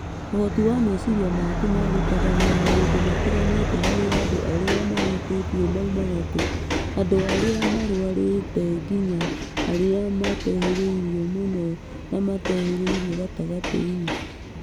ũhoti wa meciria maku ma gũtabania maũndũ matiganĩte harĩ andũ arĩa mahutĩtio maumaga kuma andũ arĩa marwarĩte nginya arĩa matehĩrĩirie mũno kana matehiririirie gatagatĩ-inĩ